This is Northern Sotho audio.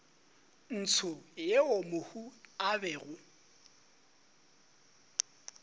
ntsho yeo mohu a bego